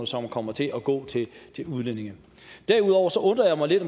som kommer til at gå til udlændinge derudover undrer jeg mig lidt